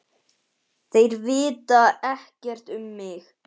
Þeir vita ekkert um mig.